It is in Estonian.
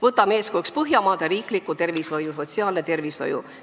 Võtame eeskujuks Põhjamaade riikliku sotsiaalsüsteemi ja tervishoiu.